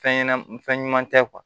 Fɛn ɲɛnɛm fɛn ɲuman tɛ kuwa